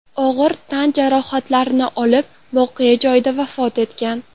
og‘ir tan jarohatlari olib voqea joyida vafot etgan.